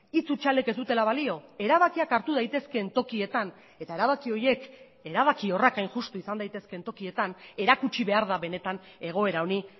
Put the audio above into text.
hitz hutsalek ez dutela balio erabakiak hartu daitezkeen tokietan eta erabaki horiek erabakiorrak hain justu izan daitezkeen tokietan erakutsi behar da benetan egoera honi